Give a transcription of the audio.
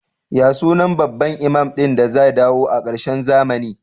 Ya sunan babban imam din da zai dawo a karshen zamani?